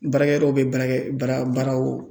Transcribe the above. Baarakɛyɔrɔw bɛ baarakɛ baara baaraw